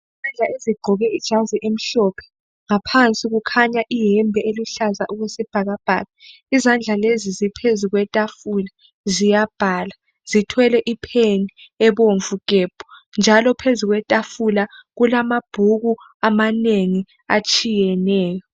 Izandla ezigqoke ijasi emhlophe, ngaphansi kukhanya ihembe eluhlaza okwesibhakabhaka izandla lezi ziphezu kwethafula ziyabhala, zithwele ipheni ebomvu gebhu, njalo phezu kwethafula kulamabhuku amanengi atshiyeneyo.